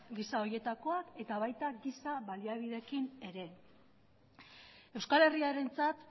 gisa horietakoak eta baita gisa baliabideekin ere euskal herriarentzat